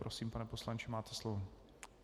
Prosím, pane poslanče, máte slovo.